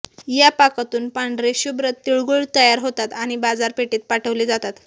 या पाकातून पांढरेशुभ्र तिळगूळ तयार होतात आणि बाजारपेठेत पाठवले जातात